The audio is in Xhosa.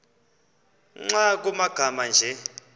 nkr kumagama anje